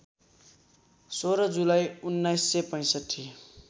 १६ जुलाई १९६५